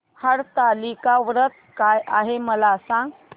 हरतालिका व्रत काय आहे मला सांग